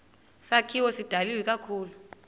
sakhiwo sidalwe ikakhulu